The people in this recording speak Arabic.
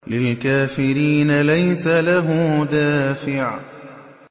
لِّلْكَافِرِينَ لَيْسَ لَهُ دَافِعٌ